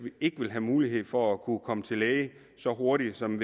ikke ville have mulighed for at kunne komme til læge så hurtigt som